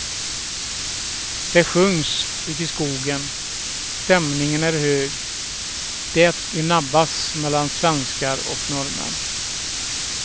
Det sjungs ute i skogen, stämningen är hög, det gnabbas mellan svenskar och norrmän.